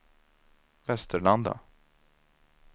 Västerlanda